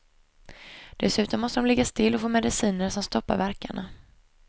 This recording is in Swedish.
Dessutom måste de ligga still och få mediciner som stoppar värkarna.